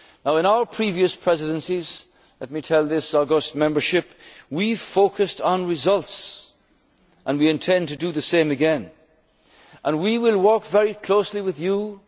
and growth. In our previous presidencies, let me tell this august membership, we focused on results and we intend to do the same again. We will work very closely with you,